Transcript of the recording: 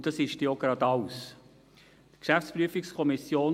Und das ist auch schon alles.